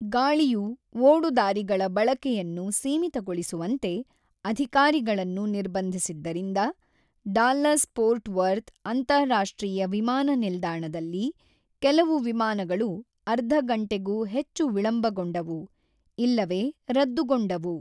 ಗಾಳಿಯು ಓಡುದಾರಿಗಳ ಬಳಕೆಯನ್ನು ಸೀಮಿತಗೊಳಿಸುವಂತೆ ಅಧಿಕಾರಿಗಳನ್ನು ನಿರ್ಬಂಧಿಸಿದ್ದರಿಂದ ಡಾಲ್ಲಸ್-ಫೋರ್ಟ್ ವರ್ತ್ ಅಂತಾರಾಷ್ಟ್ರೀಯ ವಿಮಾನ ನಿಲ್ದಾಣದಲ್ಲಿ ಕೆಲವು ವಿಮಾನಗಳು ಅರ್ಧ ಗಂಟೆಗೂ ಹೆಚ್ಚು ವಿಳಂಬಗೊಂಡವು ಇಲ್ಲವೇ ರದ್ದುಗೊಂಡವು.